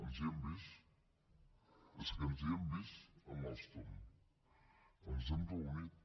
ens hi hem vist és que ens hi hem vist amb alstom ens hem reunit